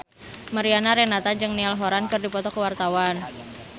Mariana Renata jeung Niall Horran keur dipoto ku wartawan